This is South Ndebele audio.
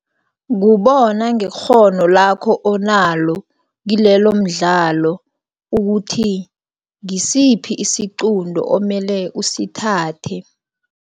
Kubona ngekghono lakho onalo, kilelomdlalo ukuthi ngisiphi isiqunto omele usithathe.